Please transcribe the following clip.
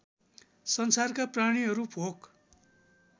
संसारका प्राणीहरू भोक